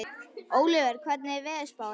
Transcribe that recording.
Ólíver, hvernig er veðurspáin?